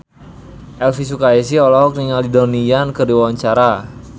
Elvy Sukaesih olohok ningali Donnie Yan keur diwawancara